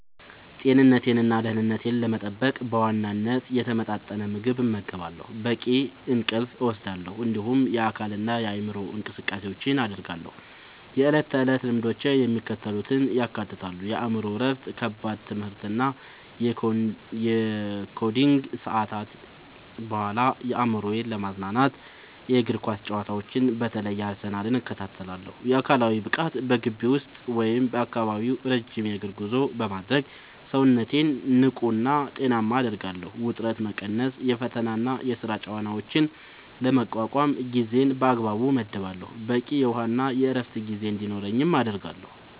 ጤንነቴንና ደህንነቴን ለመጠበቅ በዋናነት የተመጣጠነ ምግብ እመገባለሁ፣ በቂ እንቅልፍ እወስዳለሁ፣ እንዲሁም የአካልና የአእምሮ እንቅስቃሴዎችን አደርጋለሁ። የዕለት ተዕለት ልምዶቼ የሚከተሉትን ያካትታሉ፦ የአእምሮ እረፍት፦ ከከባድ የትምህርትና የኮዲንግ ሰዓታት በኋላ አእምሮዬን ለማዝናናት የእግር ኳስ ጨዋታዎችን (በተለይ የአርሰናልን) እከታተላለሁ። አካላዊ ብቃት፦ በግቢ ውስጥ ወይም በአካባቢው ረጅም የእግር ጉዞ በማድረግ ሰውነቴን ንቁና ጤናማ አደርጋለሁ። ውጥረት መቀነስ፦ የፈተናና የሥራ ጫናዎችን ለመቋቋም ጊዜን በአግባቡ እመድባለሁ፣ በቂ የውሃና የዕረፍት ጊዜ እንዲኖረኝም አደርጋለሁ።